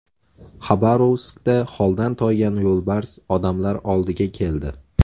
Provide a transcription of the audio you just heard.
Xabarovskda holdan toygan yo‘lbars odamlar oldiga keldi.